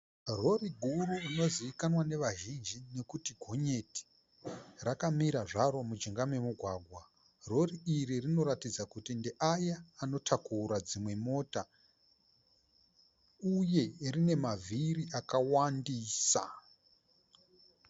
Rori guru inozivikanwa nevazhinji nekuti gonyeti, rakamira zvaro mujinga memugwagwa. Rori iri rinoratidza kuti ndeaya anotakura dzimwe mota uye rine mavhiri akawandisa.